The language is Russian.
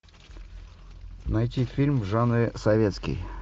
найти фильм в жанре советский